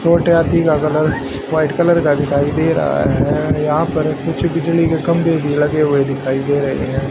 छोटे हाथी का कलर व्हाइट कलर का दिखाई दे रहा है यहां पर कुछ बिजली का खंभे भी लगे हुए दिखाई दे रहे हैं।